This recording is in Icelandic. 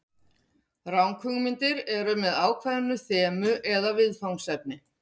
Ranghugmyndir eru með ákveðin þemu eða viðfangsefni.